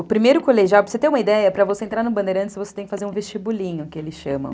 O primeiro colegial, para você ter uma ideia, para você entrar no Bandeirantes, você tem que fazer um vestibulinho, que eles chamam.